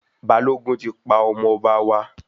Balógun tí pa ọmọ ọba wa